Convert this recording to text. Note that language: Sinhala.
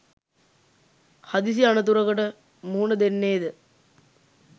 හදිසි අනතුරකට මුහුණ දෙන්නේ ද